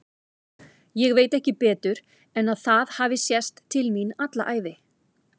Ég veit ekki betur en að það hafi sést til mín alla ævi.